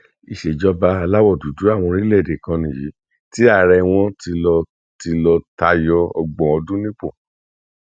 ìṣèjọba aláwọ dúdú àwọn orílẹ èdè kan nìyí tí ààrẹ wọn ti lọ ti lọ tayọ ọgbọn ọdún nípò